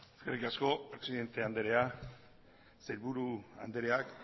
eskerrik asko presidente andrea sailburuok